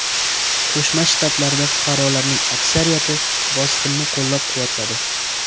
Qo‘shma Shtatlarda fuqarolarning aksariyati bosqinni qo‘llab-quvvatladi.